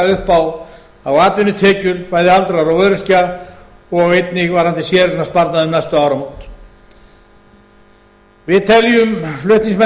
upp á atvinnutekjur bæði aldraðra og öryrkja og einnig varðandi séreignarsparnaðinn um næstu áramót við teljum